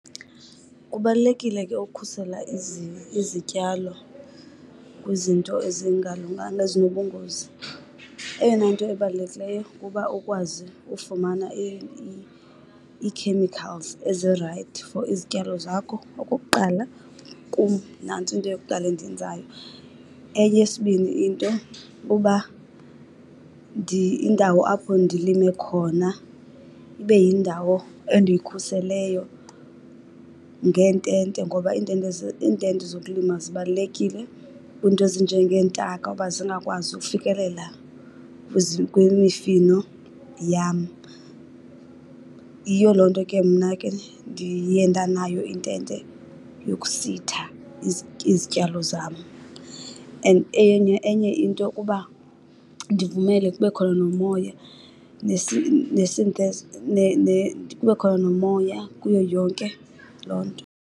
Kubalulekile ke ukhusela izityalo kwizinto ezingalunganga ezinobungozi. Eyona nto ebalulekileyo kuba ukwazi ufumana ii-chemicals ezirayithi for izityalo zakho. Okokuqala kum nantso into yokuqala endiyenzayo. Eyesibini into kuba indawo apho ndilime khona ibe yindawo endiyikhuseleyo ngeentente ngoba iintente , iintente zokulima zibalulekile kwiinto ezinjengeentaka uba zingakwazi ukufikelela kwimifino yam. Yiyo loo nto ke mna ke ndiye ndanayo intente yokusitha izityalo zam. And enye, enye into kuba ndivumele kube khona nomoya , kube khona nomoya kuyo yonke loo nto.